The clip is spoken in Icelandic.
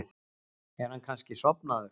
Er hann kannski sofnaður?